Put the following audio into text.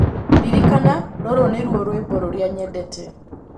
ririkana rūrū nīruo rwīmbo rūrīa nyendete